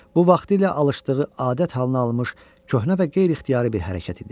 Bu vaxtilə alışdığı adət halına alınmış köhnə və qeyri-ixtiyari bir hərəkət idi.